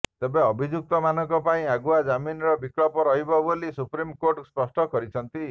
ତେବେ ଅଭିଯୁକ୍ତମାନଙ୍କ ପାଇଁ ଆଗୁଆ ଜାମିନର ବିକଳ୍ପ ରହିବ ବୋଲି ସୁପ୍ରିମ୍ କୋର୍ଟ ସ୍ପଷ୍ଟ କରିଛନ୍ତି